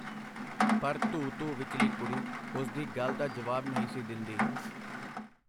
ਪਰ ਧੂ-ਧੂ ਵਿਚਲੀ ਕੁੜੀ ਉਸਦੀ ਗੱਲ ਦਾ ਜਵਾਬ ਨਹੀਂ ਸੀ ਦਿੰਦੀ.